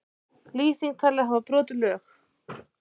Lýsing talin hafa brotið lög